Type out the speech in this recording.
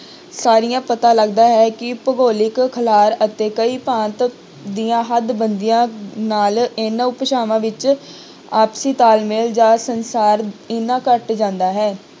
ਸਾਰੀਆਂ ਪਤਾ ਲੱਗਦਾ ਹੈ ਕਿ ਭੁਗੋਲਿਕ ਖਿਲਾਰ ਅਤੇ ਕਈ ਭਾਂਤ ਦੀਆਂ ਹੱਡਬੰਦੀਆਂ ਨਾਲ ਇਹਨਾਂ ਭਾਸ਼ਾਵਾਂ ਵਿੱਚ ਆਪਸੀ ਤਾਲਮੇਲ ਜਾਂ ਸੰਸਾਰ ਇੰਨਾ ਘੱਟ ਜਾਂਦਾ ਹੈ।